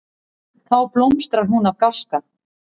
Þá blómstrar hún af gáska.